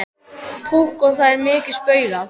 Púkk og það er mikið spaugað.